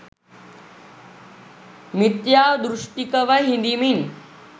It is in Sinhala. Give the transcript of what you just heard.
මිත්‍යා දෘෂ්ටිකව හිඳිමින්